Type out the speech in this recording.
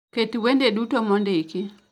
Ket wende duto mondiki